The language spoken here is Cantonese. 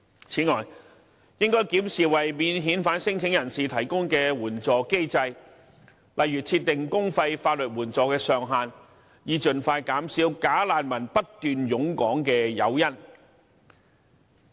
此外，應要檢視為免遣返聲請人提供的援助機制，例如設定公費法律援助的上限，以盡快減少"假難民"不斷湧港的誘因。